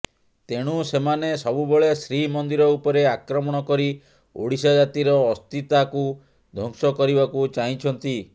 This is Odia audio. ତେଣୁ ସେମାନେ ସବୁବେଳେ ଶ୍ରୀମନ୍ଦିର ଉପରେ ଆକ୍ରମଣ କରି ଓଡ଼ିଆ ଜାତିର ଅସ୍ମିତାକୁ ଧ୍ୱଂସ କରିବାକୁ ଚାହିଁଛନ୍ତି